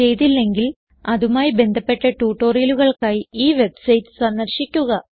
ചെയ്തില്ലെങ്കിൽ അതുമായി ബന്ധപ്പെട്ട ട്യൂട്ടോറിയലുകൾക്കായി ഈ വെബ്സൈറ്റ് സന്ദർശിക്കുക